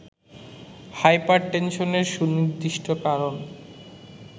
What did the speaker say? hyper টেনশনের সুনির্দিষ্ট কারণ